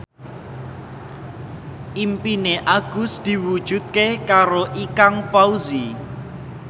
impine Agus diwujudke karo Ikang Fawzi